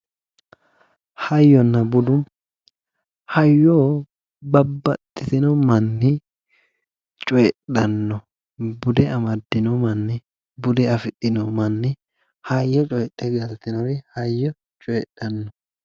hayyonna budu hayyo babbaxitino manni coyiidhanno bude amaddino manni bude afidhinori hayyo coyidhe galtinori hayyo coyiidhanno.